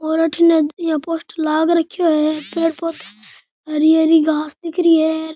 और अठीने यहां पोस्टर लाग रखयो है पेड़ पौधा हरी हरी घास दिख री है।